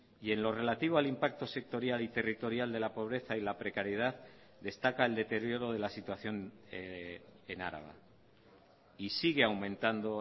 y en lo relativo al impacto sectorial y territorial de la pobreza y la precariedad destaca el deterioro de la situación en araba y sigue aumentando